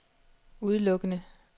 udelukkende